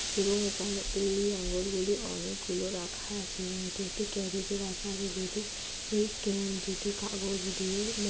এবং এখানে এই আঙ্গুরগুলি অনেকগুলো রাখা আছে এবং এটি একটি ক্যারাটে রাখা আছে যেটি হেই যেটি কাগজ দিয়ে--